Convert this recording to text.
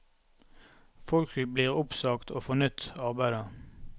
Folk blir oppsagt og får nytt arbeide.